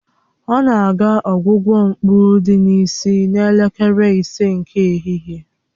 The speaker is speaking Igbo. Ọ na-aga ọgwụgwọ mkpụ dị n'isi n'elekere ise nke ehihie